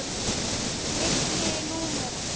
Milli númera.